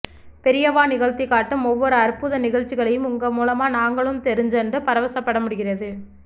பெரியவா நிகழ்தி காட்டும் ஒவ்வொரு அற்புத நிகழ்ச்சிகளையும் உங்க மூலமா நாங்களும் தெரிஞ்சண்டு பரவசப்படமுடிகிறது